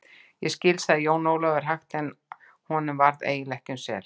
Ég skil, sagði Jón Ólafur hægt en honum varð eiginlega ekki um sel.